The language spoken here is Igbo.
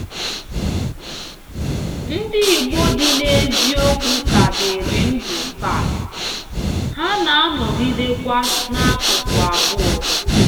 Ndị Igbo dị n’eziokwu ka dịrị ndụ taa, ha na-anọgidekwa n’akụkụ abụọ.